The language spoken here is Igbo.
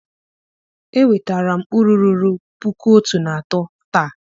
enwetara m uru ruru 1300 taa